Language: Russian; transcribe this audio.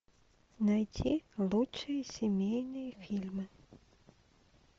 найти лучшие семейные фильмы